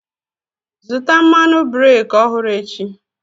Zụta mmadụ breki ọhụrụ echi!